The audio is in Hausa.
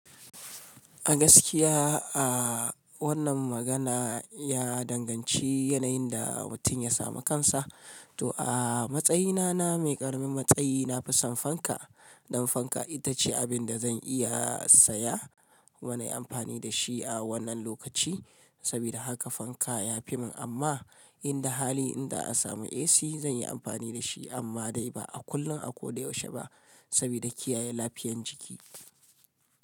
A gaskiya a wannan magana ya danganci yanayin da watin ya samu kansa. To a matsayina na mai ƙaramin matsayi, na fi son fanka. Dan fanka itace abibda zan iya saya kuma nayi anfanindashi a wannan lokaci saboda haka fanka ya fi min. Amma inda hali, inza a samu AC zan yi amfani da shi. Amma dai ba a kullum a ko da yaushe ba saboda kiyaye lafiyan jiki.